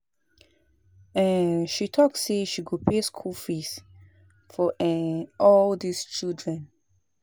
um She talk say she go pay school fees for um all dis children